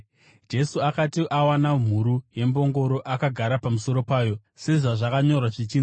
Jesu akati awana mhuru yembongoro, akagara pamusoro payo, sezvazvakanyorwa zvichinzi: